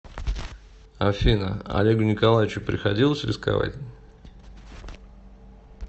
афина олегу николаевичу приходилось рисковать